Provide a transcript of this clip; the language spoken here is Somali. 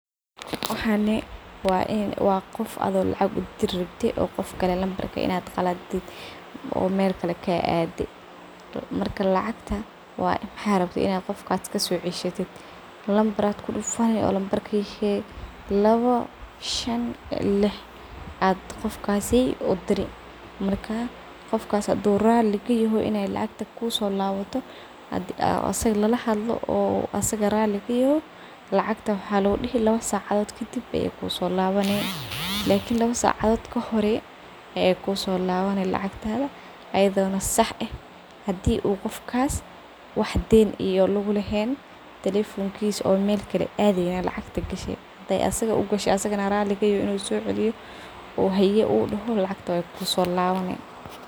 Waxani wa ee wa qof adigo lacag udiri rabtee oo qof kale lambarka inaad qaladid oo meel kale kaadee marka lacagta wa maxa rabtee inaa qofka kasoceshatit lambar ba kudufaani lambarkii sheeg laabo Shaan lix ad qofkasi udiri marka qofkas haduu raali kayahay iney lacagta kusolaabato hadii aa isaago laalahadlo oo asaga raali kayahay lacagta waxa lagu dihi laabo saacadod kadiib ayey kusolaabani lakini laabo sacadod kahor ayeey kusolaaban lacagtada ayadoo sax ah hadii u qofkas wax Deen iyo lagulaheen telephone kiisa oo meel kalee adeeyn lacagta gashee hadee isaago u gashee asagana raali kayahay inuu soceeliyo u hayee uu daho lacagta wey kusolaban.